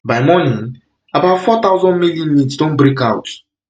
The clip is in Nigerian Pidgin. by morning about four thousand male inmates don break out